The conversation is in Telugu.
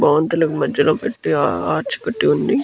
భవంతులకు మధ్యలో పెట్టీ ఆర్చ్ కట్టి ఉంది.